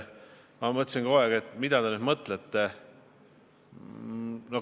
Ma mõtlesin kogu aeg, mida te ikkagi mõtlete.